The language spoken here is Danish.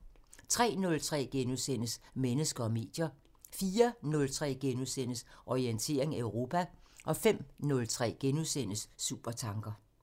03:03: Mennesker og medier * 04:03: Orientering Europa * 05:03: Supertanker *